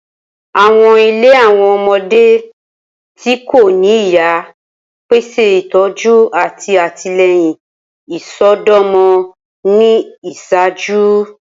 Awọn ile Awọn ọmọde ti ko ni iya pese itọju ati atilẹyin isọdọmọ ni iṣaaju.